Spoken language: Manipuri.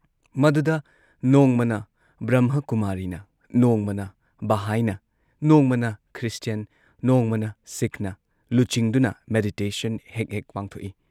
ꯃꯗꯨꯗ ꯅꯣꯡꯃꯅ ꯕ꯭ꯔꯝꯍꯥꯀꯨꯃꯥꯔꯤꯅ, ꯅꯣꯡꯃꯅ ꯕꯥꯍꯥꯏꯅ, ꯅꯣꯡꯃꯅ ꯈ꯭ꯔꯤꯁꯇꯤꯌꯟ, ꯅꯣꯡꯃꯅ ꯁꯤꯈꯅ ꯂꯨꯆꯤꯡꯗꯨꯅ ꯃꯦꯗꯤꯇꯦꯁꯟ ꯍꯦꯛ ꯍꯦꯛ ꯄꯥꯡꯊꯣꯛꯏ ꯫